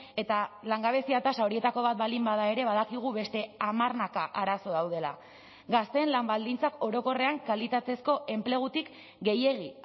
eta langabezia tasa horietako bat baldin bada ere badakigu beste hamarnaka arazo daudela gazteen lan baldintzak orokorrean kalitatezko enplegutik gehiegi